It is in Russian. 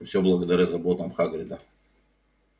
и все благодаря заботам хагрида